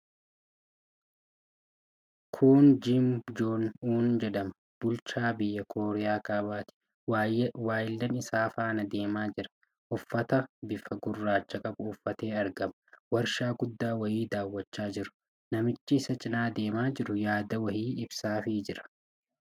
Kun Kiim Joong Uun jedhama. Bulchaa biyya Kooriyaa Kaabaati. Waayillan isaa faana deemaa jira. Uffata bifa gurraacha qabu uuffatee argama. Warshaa guddaa wayii daawwachaa jiru. Namichi isa cinaa deemaa jiru yaada wayii ibsaafii jira.